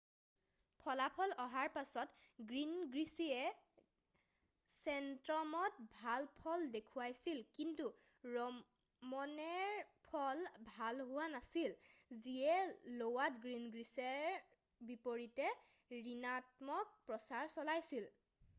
ফলাফল অহাৰ পাছত গিনগ্ৰিছে ছেনট্ৰমত ভাল ফল দেখুৱাইছিল কিন্তু ৰমনেৰ ফল ভাল হোৱা নাছিল যিয়ে ল'ৱাত গিনগ্ৰিছৰ বিপৰীতে ঋণাত্মক প্ৰচাৰ চলাইছিল